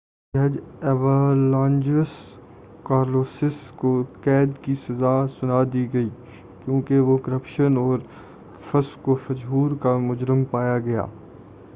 مزید بر آں اعلیٰ جج ایوانجلوس کالوسیس کو قید کی سزا دی گئی کیوں کہ وہ کرپشن اور فسق و فجور کا مجرم پایا گیا